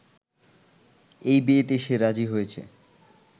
এই বিয়েতে সে রাজি হইসে